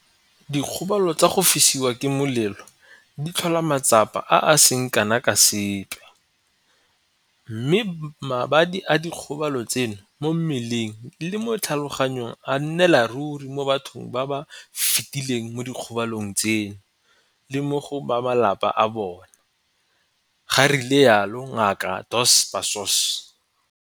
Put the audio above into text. Dikgobalo tsa go fisiwa ke molelo di tlhola matsapa a a seng kana ka sepe mme mabadi a dikgobalo tseno mo mmeleng le mo tlhaloganyong a nnela ruri mo bathong ba ba fetileng mo dikgobalong tseno le mo go ba malapa a bona, ga rialo Ngaka Dos Passos.